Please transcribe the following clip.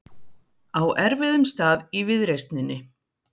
Á erfiðum stað í viðreisninni